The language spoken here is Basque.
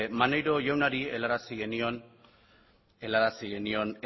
maneiro jaunari helarazi genion